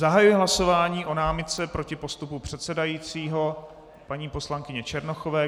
Zahajuji hlasování o námitce proti postupu předsedajícího paní poslankyně Černochové.